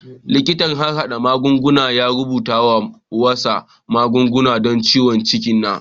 Likitan harhada magunguna ya rubuta wasu magunguna don ciwon ciki na.